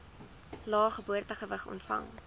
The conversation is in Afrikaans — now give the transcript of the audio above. lae geboortegewig ontvang